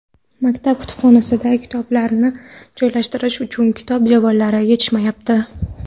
Maktab kutubxonasida kitoblarni joylashtirish uchun kitob javonlari yetishmayapti.